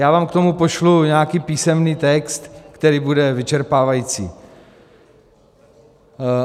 Já vám k tomu pošlu nějaký písemný text, který bude vyčerpávající.